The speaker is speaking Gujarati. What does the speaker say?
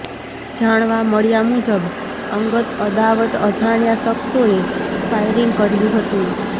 જાણવા મળ્યા મુજબ અંગત અદાવત અજાણ્યા શખ્શોએ ફાયરિંગ કર્યુ હતુ